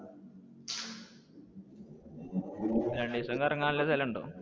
രണ്ടീസം കറങ്ങാൻ ഉള്ള സ്ഥലങ്ങൾ ഉണ്ടോ?